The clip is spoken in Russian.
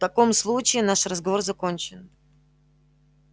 в таком случае наш разговор закончен